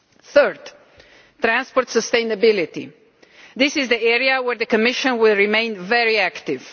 Third transport sustainability. This is an area where the Commission will remain very active.